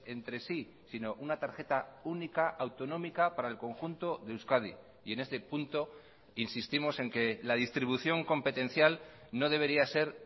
entre sí sino una tarjeta única autonómica para el conjunto de euskadi y en este punto insistimos en que la distribución competencial no debería ser